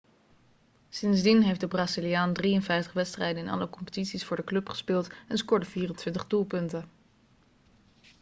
sindsdien heeft de braziliaan 53 wedstrijden in alle competities voor de club gespeeld en scoorde 24 doelpunten